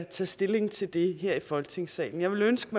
tage stilling til det her i folketingssalen jeg ville ønske